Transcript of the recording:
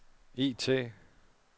IT